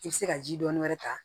I bɛ se ka ji dɔɔni wɛrɛ ta